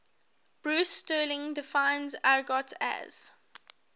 bruce sterling defines argot as